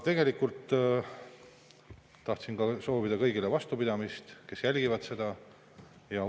Tegelikult tahtsin ka soovida kõigile vastupidamist, kes seda jälgivad.